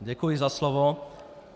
Děkuji za slovo.